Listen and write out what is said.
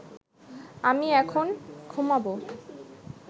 আমি এখন ঘুমাব